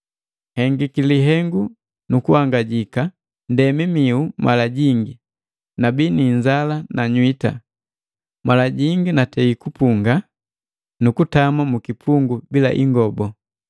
Nhengiki lihengu nu kuhangajika, ndemi mihu mala jingi, nabii ni inzala na nywita, mala jingi mbungiki nu kutama mukipepu bila ingobu.